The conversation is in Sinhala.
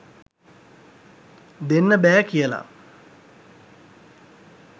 දෙන්න බෑ කියල